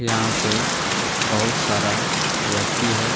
यहां पे बहुत सारा व्यक्ति है।